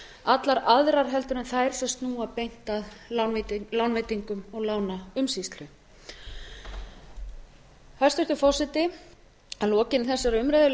allar aðrar heldur en þær sem snúa beint að lánveitingum og lánaumsýslu hæstvirtur forseti að lokinni þessari umræðu legg